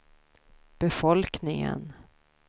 befolkningen